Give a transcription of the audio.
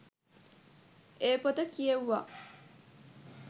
ඒ පොත කියෙව්වා.